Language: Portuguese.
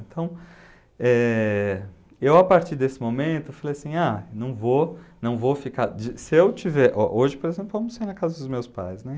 Então, eh, eu, a partir desse momento, falei assim, ah, não vou não ficar de... Se eu tiver... Ó, hoje, por exemplo, eu almocei na casa dos meus pais, né?